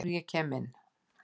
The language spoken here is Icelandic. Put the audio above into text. Áður en að ég kem inn.